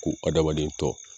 Ko adamaden tɔ